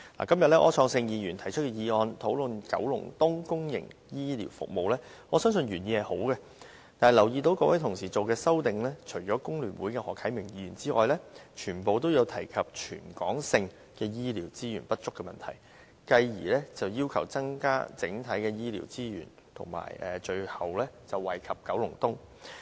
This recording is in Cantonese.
今天柯創盛議員提出議案，討論九龍東公營醫療服務，我相信原意是好的，但我注意到，各位同事提出的修正案，除了香港工會聯合會的何啟明議員之外，全部均提及全港性醫療資源不足的問題，繼而要求增加整體醫療資源，最後惠及九龍東。